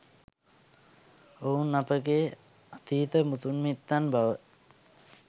ඔවුන් අපගේ අතීත මුතුන් මිත්තන් බව